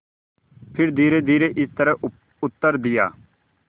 फिर धीरेधीरे इस तरह उत्तर दिया